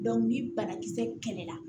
ni banakisɛ kɛlɛ la